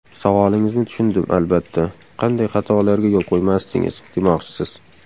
Savolingizni tushundim, albatta, qanday xatolarga yo‘l qo‘ymasdingiz, demoqchisiz.